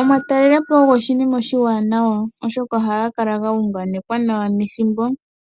Omatalelopo ogo oshinima oshiwanawa oshoka ohaga kala ga unganekwa nawa nethimbo,